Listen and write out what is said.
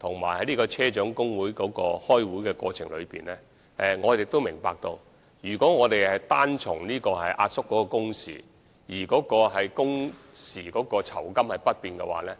和車長工會磋商的過程中，我們明白如果只是壓縮工時而工時的酬金不變，對現有車長的收入確實會有所影響。